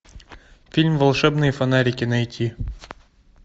фильм волшебные фонарики найти